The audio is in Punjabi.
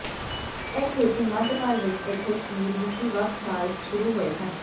ਇਹ ਛੇਤੀ ਮੱਧਕਾਲ ਵਿੱਚ ਇੱਥੇ ਸੀ ਰੂਸੀ ਵੱਖ ਰਾਜ ਸ਼ੁਰੂ ਹੋਏ ਸਨ